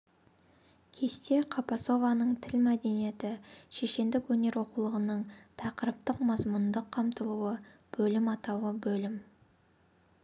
кесте қапасованың тіл мәдениеті шешендік өнер оқулығының тақырыптық-мазмұндық қамтылуы бөлім атауы бөлім